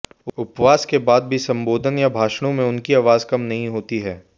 उपवास के बाद भी संबोधन या भाषणों में उनकी आवाज कम नहीं होती है